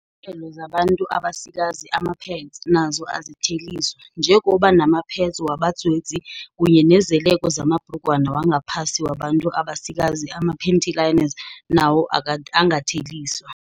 belo zabantu abasikazi, amapads, nazo azitheliswa, njengoba namapads wabadzwedzi kunye nezeleko zamabhrugwana wangaphasi wabantu abasikazi, amapanty liners, nawo angatheliswa.